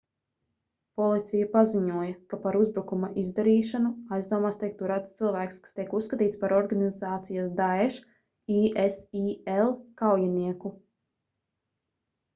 policija paziņoja ka par uzbrukuma izdarīšanu aizdomās tiek turēts cilvēks kas tiek uzskatīts par organizācijas daesh” isil kaujinieku